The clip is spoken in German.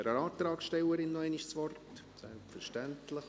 Ich gebe der Antragstellerin noch einmal das Wort, selbstverständlich.